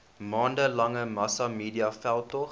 maande lange massamediaveldtog